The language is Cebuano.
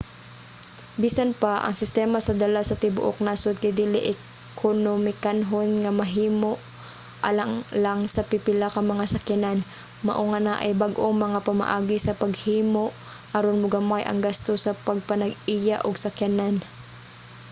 bisan pa ang sistema sa dala sa tibuok nasod kay dili ekonomikanhon nga mahimo alang lang sa pipila ka mga sakyanan mao nga naay bag-ong mga pamaagi sa paghimo aron mogamay ang gasto sa pagpanag-iya og sakyanan